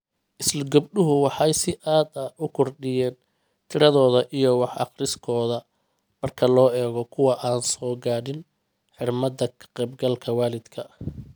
Isla gabdhuhu waxay si aad ah u kordhiyeen tiradooda iyo wax-akhriskooda marka loo eego kuwa aan soo gaadhin xirmada ka-qaybgalka waalidka.